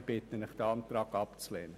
Ich bitte Sie, diesen Antrag abzulehnen.